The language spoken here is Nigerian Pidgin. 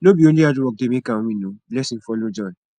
no be only hard work dey make am win o blessing follow join